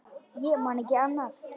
Ég man ekki annað.